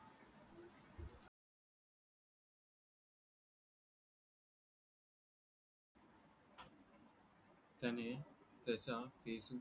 त्याने त्याच्या